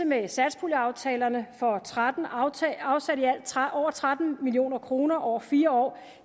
med satspuljeaftalerne for og tretten afsat over tretten million kroner over fire år